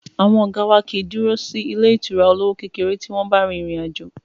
Àwọn ọ̀gá wá kìí dúró sí ilé ìtura olówó kékeré tí wọ́n bá rin ìrìn àjò.